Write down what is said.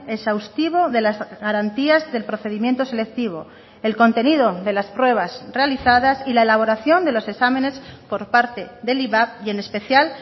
exhaustivo de las garantías del procedimiento selectivo el contenido de las pruebas realizadas y la elaboración de los exámenes por parte del ivap y en especial